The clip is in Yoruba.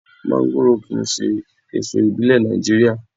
Mọ́ńgòrò kì í ṣe èso ìbílẹ̀ Nàìjíríà.